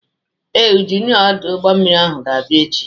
Ee, Injinia ọdụ ụgbọmmiri ahụ ga-abịa echi.